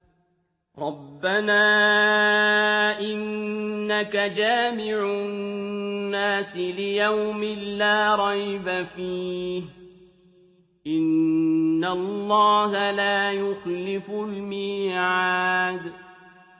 رَبَّنَا إِنَّكَ جَامِعُ النَّاسِ لِيَوْمٍ لَّا رَيْبَ فِيهِ ۚ إِنَّ اللَّهَ لَا يُخْلِفُ الْمِيعَادَ